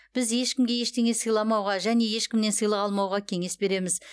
біз ешкімге ештеңе сыйламауға және ешкімнен сыйлық алмауға кеңес береміз